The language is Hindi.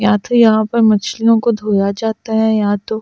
या तो यहां पर मछलियों को धोया जाता है या तो--